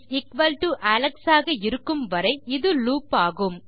nameAlex ஆக இருக்கும் வரை இது லூப் ஆகும்